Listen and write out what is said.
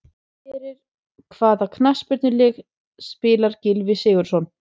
Fyrir hvaða knattspyrnulið spilar Gylfi Sigurðsson?